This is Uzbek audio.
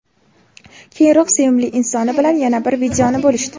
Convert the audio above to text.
Keyinroq sevimli insoni bilan yana bir videoni bo‘lishdi.